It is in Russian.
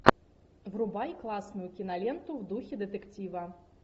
врубай классную киноленту в духе детектива